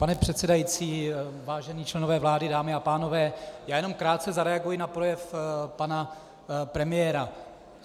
Pane předsedající, vážení členové vlády, dámy a pánové, já jenom krátce zareaguji na projev pana premiéra.